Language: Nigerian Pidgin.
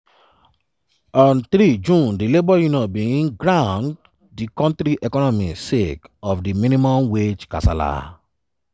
on 3 june di labour unions bin ground di kontri economy sake of di minimum wage kasala.